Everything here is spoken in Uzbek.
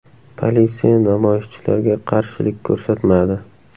Politsiya namoyishchilarga qarshilik ko‘rsatmadi.